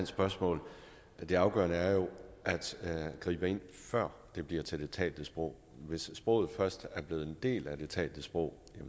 spørgsmål det afgørende er jo at gribe ind før det bliver til det talte sprog hvis sproget først er blevet en del af det talte sprog